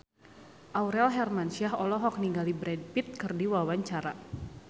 Aurel Hermansyah olohok ningali Brad Pitt keur diwawancara